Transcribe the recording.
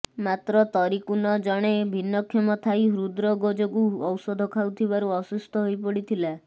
ମାତ୍ର ତରିକୁନ ଜଣେ ଭିନ୍ନକ୍ଷମ ଥାଇ ହୃଦରୋଗ ଯୋଗୁଁ ଔଷଧ ଖାଉଥିବାରୁ ଅସୁସ୍ଥ ହୋଇପଡିଥିଲା